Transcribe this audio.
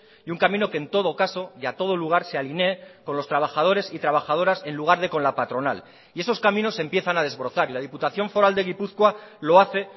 y un camino que en todo caso y a todo lugar se alinee con los trabajadores y trabajadoras en lugar de con la patronal y esos caminos empiezan a desbrozar y la diputación foral de gipuzkoa lo hace